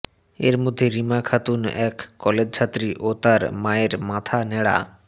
এর মধ্যে রিমা খাতুন এক কলেজছাত্রী ও তার মায়ের মাথা ন্যাড়া